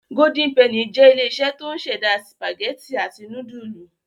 Golden penny jẹ́ ilé-iṣẹ́ tó ń ṣẹ̀dá sìpàgẹ́tì àti núdúlù.